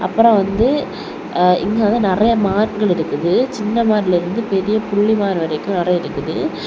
அப்புறம் வந்து ஆ இங்க வந்து நறைய மான்கள் இருக்குது சின்ன மான்ல இருந்து பெரிய புள்ளிமான் வரைக்கும் நறைய இருக்குது.